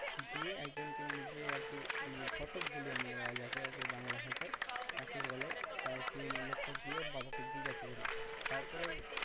গিয়ে একজনকে মানে যে আর কি মানে ঘটক বলি আমরা যাকে বাংলা ভাষায় তাকে বলে তাই সেই লোকটা গিয়ে ওর বাবাকে জিজ্ঞাসা করে তারপরে ওর